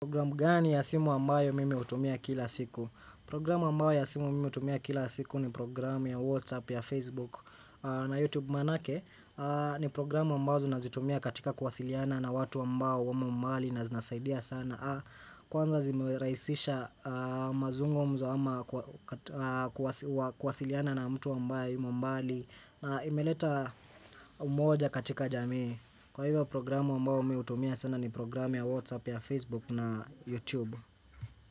Programu gani ya simu ambayo mimi utumia kila siku? Programu ambayo ya simu mime utumia kila siku ni programu ya Whatsapp, ya Facebook, na Youtube manake ni programu ambayo zunazitumia katika kwasiliana na watu ambayo wame mbali na zinasaidia sana. Kwanza zimeraisisha mazungo mzo ama kwasiliana na mtu ambayo mbali na imeleta umoja katika jamii Kwa hivyo programu mbao umeutumia sana ni programu ya Whatsapp ya Facebook na Youtube.